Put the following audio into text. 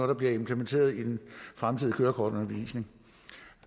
der bliver implementeret i den fremtidige kørekortundervisning